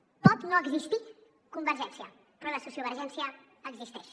pot no existir convergència però la sociovergència existeix